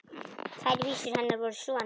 Tvær vísur hennar voru svona: